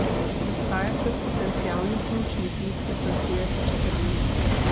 Sestaja se s potencialnimi pomočniki, sestankuje s Čeferinom.